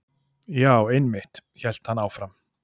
Já, einmitt- hélt hann áfram.